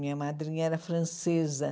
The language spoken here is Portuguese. Minha madrinha era francesa.